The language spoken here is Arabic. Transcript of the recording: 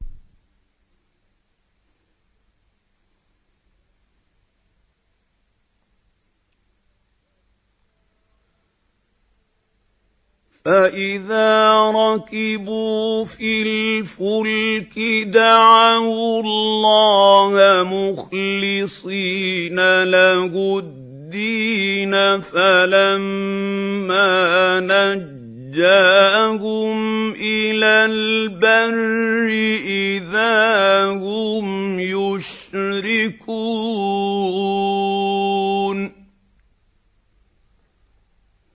فَإِذَا رَكِبُوا فِي الْفُلْكِ دَعَوُا اللَّهَ مُخْلِصِينَ لَهُ الدِّينَ فَلَمَّا نَجَّاهُمْ إِلَى الْبَرِّ إِذَا هُمْ يُشْرِكُونَ